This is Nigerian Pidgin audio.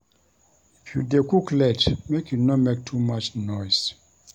If you dey cook late, make you no make too much noise.